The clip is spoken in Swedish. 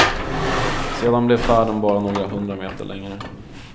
Sedan blev färden bara några hundra meter längre.